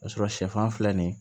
O y'a sɔrɔ sɛfan filɛ nin ye